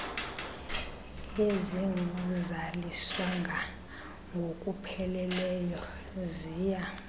ezingazaliswanga ngokupheleleyo ziya